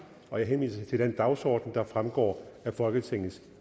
jeg henviser til den dagsorden der fremgår af folketingets